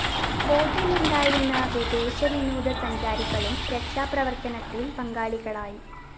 ബോട്ടിലുണ്ടായിരുന്ന വിദേശ വിനോദസഞ്ചാരികളും രക്ഷാപ്രവര്‍ത്തനത്തില്‍ പങ്കാളികളായി